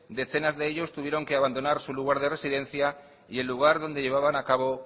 decenas de ellos tuvieron que abandonar su lugar de residencia y el lugar donde llevaban a cabo